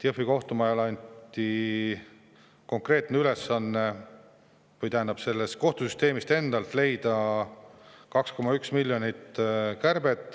Jõhvi kohtumajale anti konkreetne ülesanne või õigemini kohtusüsteemil endal tuli leida võimalus teha 2,1-miljoniline kärbe.